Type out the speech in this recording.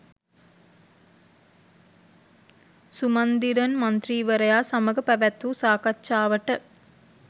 සුමන්දිරන් මන්ත්‍රීවරයා සමග පැවැත්වූ සාකච්ඡාවට